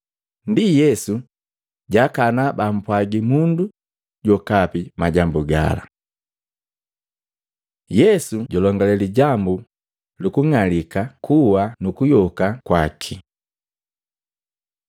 Ndi Yesu jaakana bampwaagi mundu jokape majambu gala. Yesu julongale lijambu luku ng'alika kuwa nukuyoka kwaki Matei 16:21-28; Luka 9:22-27